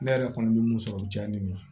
Ne yɛrɛ kɔni bɛ mun sɔrɔ o diyalen don